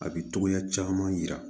A bi togoya caman yira